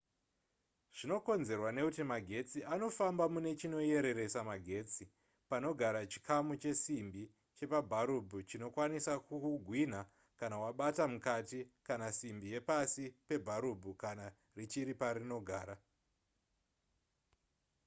zvinokonzerwa nekuti magetsi anofamba mune chinoyereresa magetsi panogara chikamu chesimbi chepabharubhu chinokwanisa kukugwinha kana wabata mukati kana simbi yepasi pebharubhu kana richiri parinogara